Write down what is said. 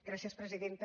gràcies presidenta